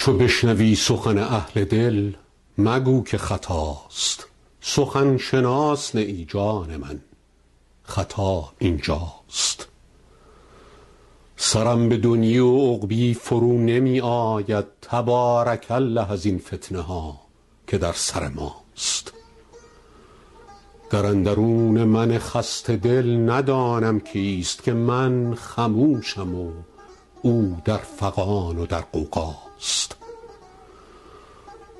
چو بشنوی سخن اهل دل مگو که خطاست سخن شناس نه ای جان من خطا این جاست سرم به دنیی و عقبی فرو نمی آید تبارک الله ازین فتنه ها که در سر ماست در اندرون من خسته دل ندانم کیست که من خموشم و او در فغان و در غوغاست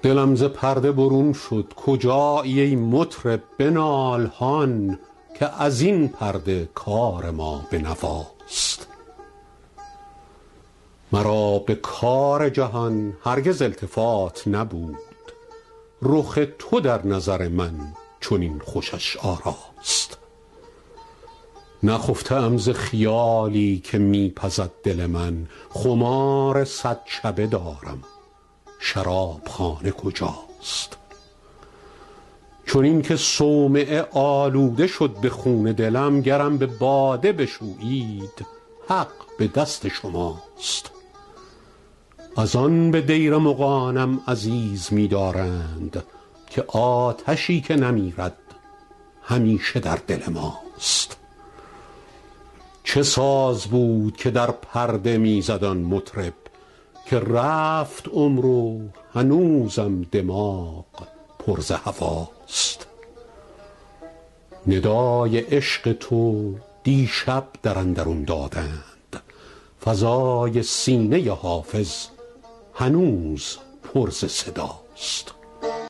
دلم ز پرده برون شد کجایی ای مطرب بنال هان که از این پرده کار ما به نواست مرا به کار جهان هرگز التفات نبود رخ تو در نظر من چنین خوشش آراست نخفته ام ز خیالی که می پزد دل من خمار صد شبه دارم شراب خانه کجاست چنین که صومعه آلوده شد ز خون دلم گرم به باده بشویید حق به دست شماست از آن به دیر مغانم عزیز می دارند که آتشی که نمیرد همیشه در دل ماست چه ساز بود که در پرده می زد آن مطرب که رفت عمر و هنوزم دماغ پر ز هواست ندای عشق تو دیشب در اندرون دادند فضای سینه حافظ هنوز پر ز صداست